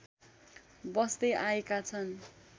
बस्दै आएका छन्।